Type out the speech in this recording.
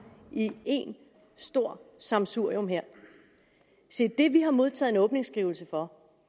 i ét stort sammensurium her se det vi har modtaget en åbningsskrivelse for